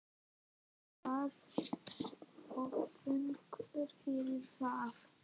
Ég var of þungur fyrir það.